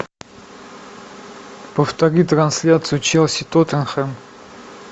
повтори трансляцию челси тоттенхэм